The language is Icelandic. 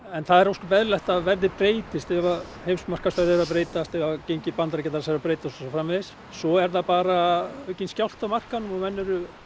en það er ósköp eðlilegt að verðið breytist ef að heimsmarkaðsverðið er að breytast ef ef gengi bandaríkjadals er að breytast og svo framvegis svo er bara aukinn skjálfti á markaðinum og menn eru